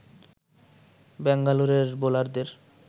ব্যাঙ্গালোরের বোলারদের